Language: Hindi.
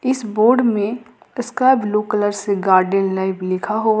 इस बोर्ड में इसका ब्लू कलर से गार्डन लाइव लिखा हुआ--